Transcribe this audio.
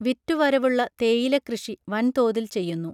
വിറ്റു വരവുള്ള തേയില കൃഷി വൻതോതിൽ ചെയ്യുന്നു